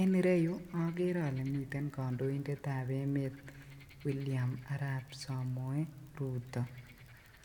En ireyuu okere olee miten kondoindetab emet William Arab Somoei Rutto,